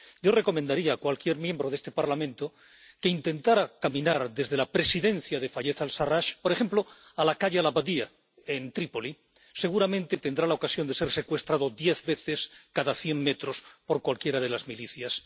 Yo recomendaría a cualquier diputado de este Parlamento que intentara caminar desde la sede de presidencia de Fayez al Sarrach, por ejemplo, a la calle al Baladia, en Trípoli seguramente tendrá la ocasión de ser secuestrado diez veces cada cien metros por cualquiera de las milicias.